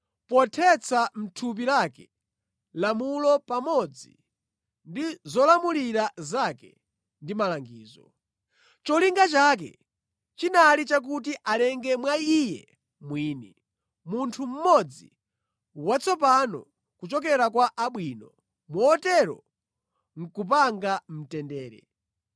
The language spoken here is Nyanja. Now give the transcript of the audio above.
pothetsa mʼthupi lake lamulo pamodzi ndi zolamulira zake ndi malangizo. Cholinga chake chinali chakuti alenge mwa Iye mwini, munthu mmodzi watsopano kuchokera kwa abwino, motero nʼkupanga mtendere,